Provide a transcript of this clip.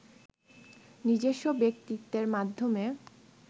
নিজস্ব ব্যক্তিত্বের মাধ্যমে